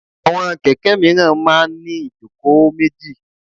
Àwọn kẹ̀kẹ́ míràn máa ń ní ìjókòó méjì.